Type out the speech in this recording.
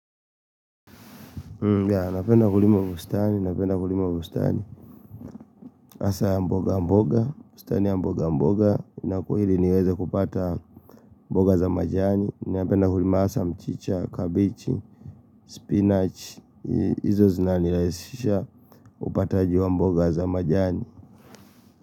Napenda kulima bustani, hasa ya mboga mboga, hili niweze kupata mboga za majani Napenda kulima hasa mchicha, kabichi, spinach Izo zinanilaisishia upataji wa mboga za majani.